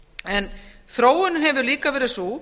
en þróunin hefur líka verið sú